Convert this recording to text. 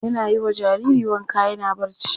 An yi wa jariri wanka yana barci.